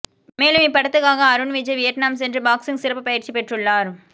மேலும் இப்படத்துக்காக அருண் விஜய் வியட்நாம் சென்று பாக்ஸிங் சிறப்பு பயிற்சி பெற்றுள்ளார்